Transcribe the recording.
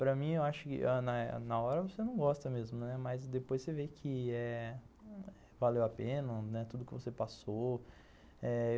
Para mim, eu acho que na hora você não gosta mesmo, né, mas depois você vê que eh valeu a pena tudo o que você passou.